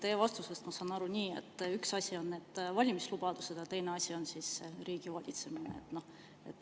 Teie vastusest ma saan aru nii, et üks asi on valimislubadused ja teine asi on riigivalitsemine.